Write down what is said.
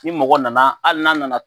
Ni mɔgɔ nana hali n'a nana